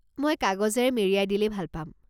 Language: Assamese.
মই কাগজেৰে মেৰিয়াই দিলে ভাল পাম।